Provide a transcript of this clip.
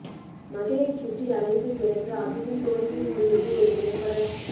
மதிலைச் சுற்றி அலைந்து பிறகு அதுவும் தோல்வியில் முடிவது ஒரு திரைப்படக்